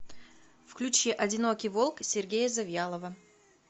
включи одинокий волк сергея завьялова